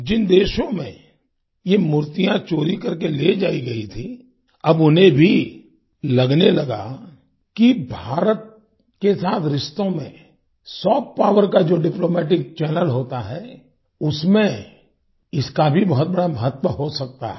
जिन देशों में ये मूर्तियां चोरी करके ले जाई गईं थीं अब उन्हें भी लगने लगा कि भारत के साथ रिश्तों में सॉफ्ट पॉवर का जो डिप्लोमैटिक चैनल होता है उसमें इसका भी बहुत बड़ा महत्व हो सकता है